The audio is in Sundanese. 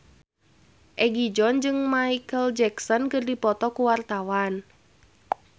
Egi John jeung Micheal Jackson keur dipoto ku wartawan